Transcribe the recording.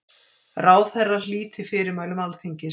Ráðherra hlíti fyrirmælum Alþingis